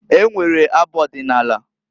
E nwere abụ ọdịnaala.